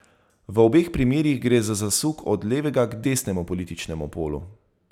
V obeh primerih gre za zasuk od levega k desnemu političnemu polu.